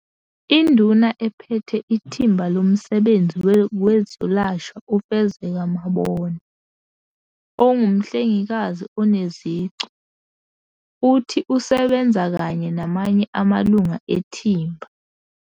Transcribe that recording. Induna Ephethe Ithimba Lomsebenzi Wezokwelashwa uFezeka Mabona, ongumhlengikazi oneziqu, uthi usebenza kanye namanye amalungu ethimba.